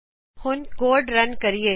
ਹੁਣ code run ਕਰੋਂ